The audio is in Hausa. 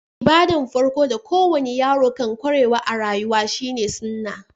Ibada'n farko da ko wani yaro kan kwarewa a'rayuwa shine"suna."